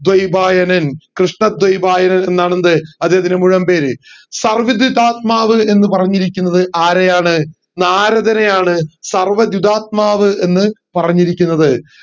ധ്വയിഭയന്ൻ കൃഷ്ണ ധ്വയിഭയന്ൻ എന്നാണ് എന്ത് അദ്ദേഹത്തിൻറെ മുഴുവൻ പേര് സർവ്വധ്യുതാത്മാവ് എന്ന് പറഞ്ഞിരിക്കുന്നത് ആരെയാണ് നാരദനെയാണ് സർവ്വധ്യുതാത്മാവ് എന്ന് പറഞ്ഞിരിക്കുന്നത്